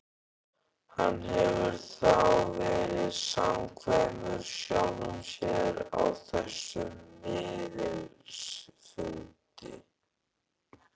Hann hefur þá verið samkvæmur sjálfum sér á þessum miðilsfundi.